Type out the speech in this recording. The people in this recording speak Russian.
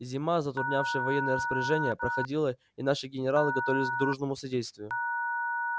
зима затруднявшая военные распоряжения проходила и наши генералы готовились к дружному содействию